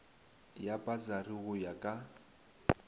ya pasari go ya ka